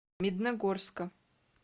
медногорска